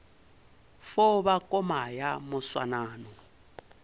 fo ba koma ya moswanano